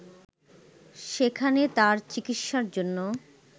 সেখানে তার চিকিৎসার জন্য